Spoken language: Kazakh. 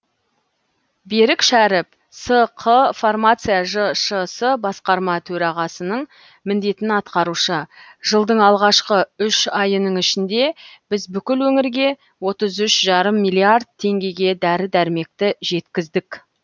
берік шәріп сқ фармация жшс басқарма төрағасының міндетін атқарушы жылдың алғашқы үш айының ішінде біз бүкіл өңірге отыз үш жарым миллиард теңгеге дәрі дәрмекті жеткіздік